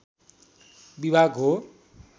विभाग हो